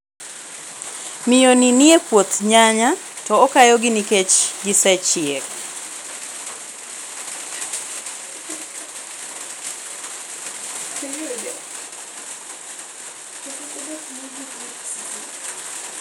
Miyo ni ni e puoth nyanya, to okayo gi nikech gisechiek.